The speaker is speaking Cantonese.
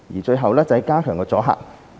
最後是加強阻嚇。